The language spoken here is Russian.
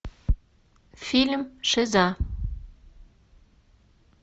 фильм шиза